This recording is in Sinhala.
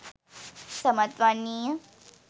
සමත් වන්නේ ය.